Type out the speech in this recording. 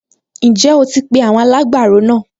Ǹjẹ́ o ti pe àwọn alágbàro náà?